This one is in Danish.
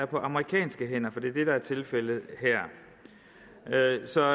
på amerikanske hænder for det er det der er tilfældet her så